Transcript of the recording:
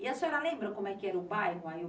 E a senhora lembra como é que era o bairro?